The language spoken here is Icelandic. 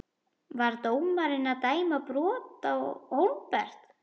Var dómarinn að dæma brot Á Hólmbert?